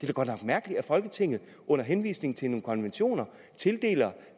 da godt nok mærkeligt at folketinget under henvisning til nogle konventioner tildeler